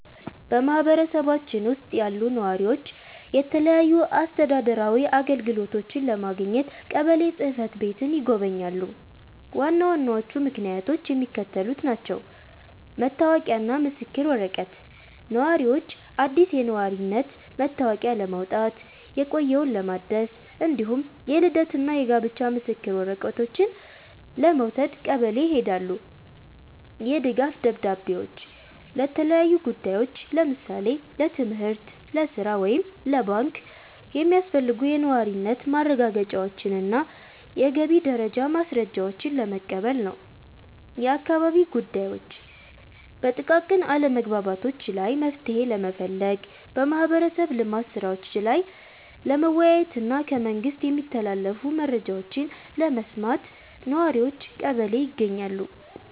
በማኅበረሰባችን ውስጥ ያሉ ነዋሪዎች የተለያዩ አስተዳደራዊ አገልግሎቶችን ለማግኘት ቀበሌ ጽሕፈት ቤትን ይጎበኛሉ። ዋና ዋናዎቹ ምክንያቶች የሚከተሉት ናቸው፦ መታወቂያና ምስክር ወረቀት፦ ነዋሪዎች አዲስ የነዋሪነት መታወቂያ ለማውጣት፣ የቆየውን ለማደስ፣ እንዲሁም የልደትና የጋብቻ ምስክር ወረቀቶችን ለመውሰድ ቀበሌ ይሄዳሉ። የድጋፍ ደብዳቤዎች፦ ለተለያዩ ጉዳዮች (ለምሳሌ ለትምህርት፣ ለሥራ ወይም ለባንክ) የሚያስፈልጉ የነዋሪነት ማረጋገጫዎችንና የገቢ ደረጃ ማስረጃዎችን ለመቀበል ነው። የአካባቢ ጉዳዮች፦ በጥቃቅን አለመግባባቶች ላይ መፍትሔ ለመፈለግ፣ በማኅበረሰብ ልማት ሥራዎች ላይ ለመወያየትና ከመንግሥት የሚተላለፉ መረጃዎችን ለመስማት ነዋሪዎች ቀበሌ ይገኛሉ።